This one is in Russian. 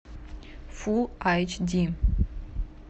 фулл айч ди